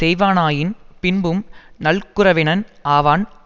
நல்குரவினனாவன் அது செல்வம் பயவாது அது வறுமை